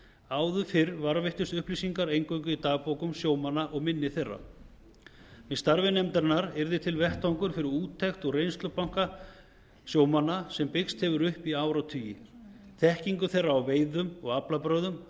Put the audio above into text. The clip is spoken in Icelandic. áður fyrr varðveittust upplýsingarnar eingöngu í dagbókum sjómanna og minni þeirra með starfi nefndarinnar yrði til vettvangur fyrir úttekt úr reynslubanka sjómanna sem byggst hefur upp í áratugi þekkingu þeirra á veiðum og aflabrögðum